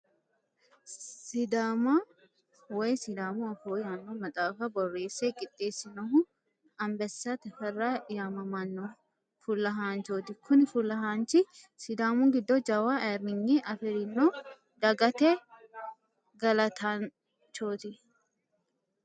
Sidaama woyi sidaamu afoo yaanno maxaafa borreesse qixeesinohu Ambessa Teferra yamamano fulahanchoti kuni fulahanchi sidaamu giddo jawa ayirrinye afirino dagate galattanchoti.